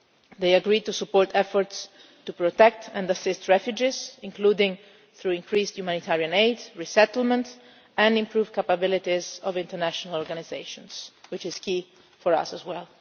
one. They agreed to support efforts to protect and assist refugees, including through increased humanitarian aid and resettlement, and to improve the capabilities of international organisations, which is key for us as